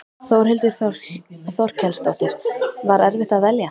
Þórhildur Þorkelsdóttir: Var erfitt að velja?